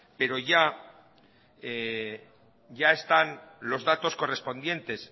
pero ya están los datos correspondientes